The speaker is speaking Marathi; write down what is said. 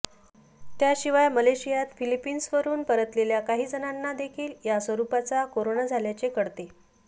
त्याशिवाय मलेशियात फिलिपाईंन्सवरुन परतलेल्या काही जणांना देखील या स्वरुपाचा कोरोना झाल्याचे कळते